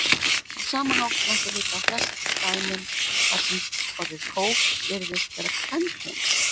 Á sama hátt mætti líta á flest dæmin þar sem orðið kók virðist vera kvenkyns.